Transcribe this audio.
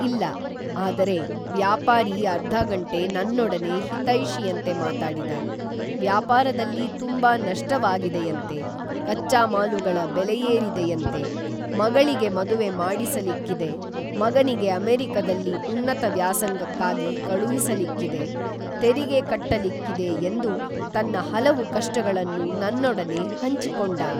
ಇಲ್ಲ, ಆದರೆ ವ್ಯಾಪಾರಿ ಅರ್ಧಗಂಟೆ ನನ್ನೊಡನೆ ಹಿತೈಷಿಯಂತೆ ಮಾತಾಡಿದ, ವ್ಯಾಪಾರದಲ್ಲಿ ತುಂಬಾ ನಷ್ಟವಾಗಿದೆಯಂತೆ, ಕಚ್ಚಾ ಮಾಲುಗಳ ಬೆಲೆಯೇರಿದೆಯಂತೆ, ಮಗಳಿಗೆ ಮದುವೆ ಮಾಡಿಸಲಿಕ್ಕಿದೆ, ಮಗನಿಗೆ ಅಮೆರಿಕದಲ್ಲಿ ಉನ್ನತ ವ್ಯಾಸಂಗಕ್ಕಾಗಿ ಕಳುಹಿಸಲಿಕ್ಕಿದೆ, ತೆರಿಗೆ ಕಟ್ಟಲಿಕ್ಕಿದೆ ಎಂದು ತನ್ನ ಹಲವು ಕಷ್ಟಗಳನ್ನು ನನ್ನೊಡನೆ ಹಂಚಿಕೊಂಡ.